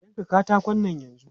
Yanka katakon nan yanzu!